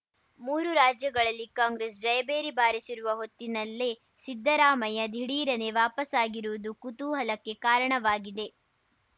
ಮೂರು ರಾಜ್ಯಗಳಲ್ಲಿ ಕಾಂಗ್ರೆಸ್‌ ಜಯಭೇರಿ ಬಾರಿಸಿರುವ ಹೊತ್ತಿನಲ್ಲೇ ಸಿದ್ದರಾಮಯ್ಯ ದಿಢೀರನೆ ವಾಪಸಾಗಿರುವುದು ಕುತೂಹಲಕ್ಕೆ ಕಾರಣವಾಗಿದೆ